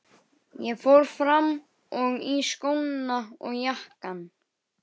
Hartmann, hringdu í Anders eftir þrjátíu og fimm mínútur.